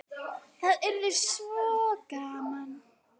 Það yrði svo gaman.